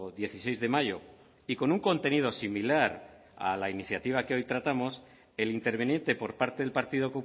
dieciséis de mayo y con un contenido similar a la iniciativa que hoy tratamos el interviniente por parte del partido